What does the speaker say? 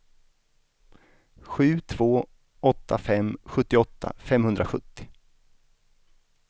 sju två åtta fem sjuttioåtta femhundrasjuttio